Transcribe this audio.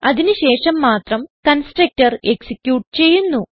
അതിന് ശേഷം മാത്രം കൺസ്ട്രക്ടർ എക്സിക്യൂട്ട് ചെയ്യുന്നു